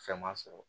Fɛn ma sɔrɔ